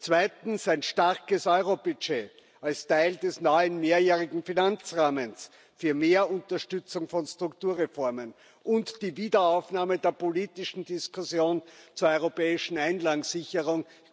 Zweitens Ein starkes Euro Budget als Teil des neuen mehrjährigen Finanzrahmens für mehr Unterstützung von Strukturreformen und die Wiederaufnahme der politischen Diskussion zur europäischen Einlagensicherung.